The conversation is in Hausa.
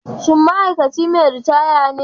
Shin ma'aikaci mai ritaya ne?